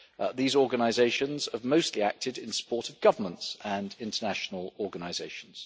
These organisations are mostly active in support of governments and international organisations.